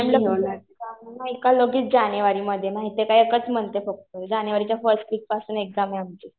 आणि मॅम ला लगेच जानेवारीमध्ये, माहितीये का एकच मन्थ आहे फक्त. जानेवारीच्या फर्स्ट वीक पासून एक्झाम आहे आमची.